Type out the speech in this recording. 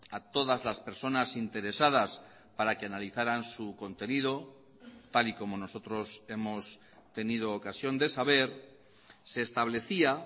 a todas las personas interesadas para que analizaran su contenido tal y como nosotros hemos tenido ocasión de saber se establecía